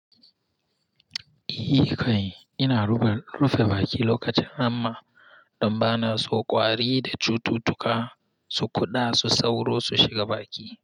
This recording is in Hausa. Eh kai, ina rufe baki lokacin hamma don bana so ƙwari da cututtuka su kuɗa su sauro su shiga baki.